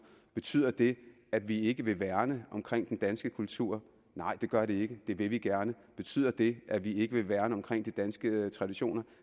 betyder det at vi ikke vil værne om den danske kultur nej det gør det ikke det vil vi gerne betyder det at vi ikke vil værne om de danske traditioner